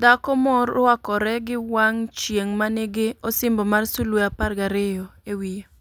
Dhako morwakore gi wang' chieng' manigi "osimbo mar sulwe apar gariyo" e wiye.